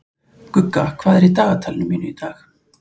Gugga, hvað er í dagatalinu mínu í dag?